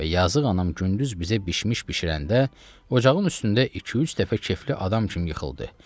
Və yazıq anam gündüz bizə bişmiş bişirəndə ocağın üstündə iki-üç dəfə kefli adam kimi yıxıldı.